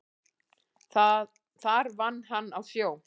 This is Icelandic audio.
Þar vann hann á sjó.